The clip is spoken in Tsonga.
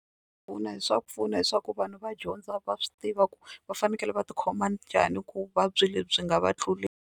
Swa pfuna swa pfuna leswaku vanhu va dyondza va swi tiva ku va fanekele va tikhoma njhani ku vuvabyi lebyi byi nga va tluleli.